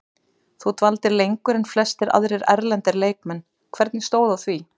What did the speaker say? Þú dvaldir lengur en flestir aðrir erlendir leikmenn, hvernig stóð að því?